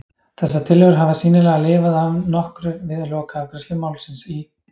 Þessar tillögur hafa sýnilega lifað að nokkru við lokaafgreiðslu málsins í